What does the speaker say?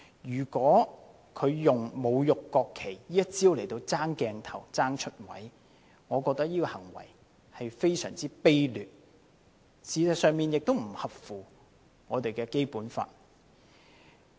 如果他用侮辱國旗這一招來爭鏡頭、爭"出位"，我覺得這種行為是非常卑劣，事實上亦不符合《基本法》。